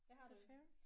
Det har du ikke